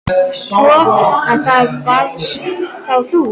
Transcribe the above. Svo. að það varst þá þú?